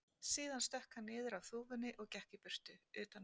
Síðan stökk hann niður af þúfunni og gekk í burtu, utan vegar.